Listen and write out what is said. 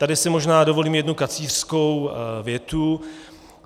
Tady si možná dovolím jednu kacířskou větu.